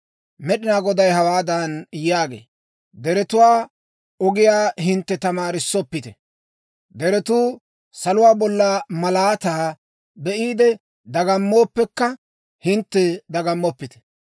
Med'inaa Goday hawaadan yaagee; «Deretuwaa ogiyaa hintte tamaaroppite. Deretuu saluwaa bolla malaataa be'iide dagammooppekka, hintte dagammoppite.